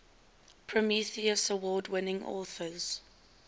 prometheus award winning authors